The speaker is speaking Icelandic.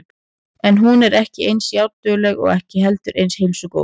En hún er ekki eins járndugleg og ekki heldur eins heilsugóð.